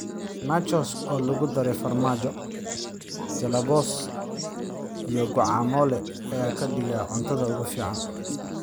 Nachos oo lagu daray farmaajo, jalape�os, iyo guacamole ayaa ka dhigaya cuntada ugu fiican.